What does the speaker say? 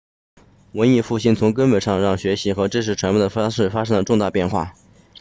文艺复兴从根本上让学习和知识传播的方式产生了重大变化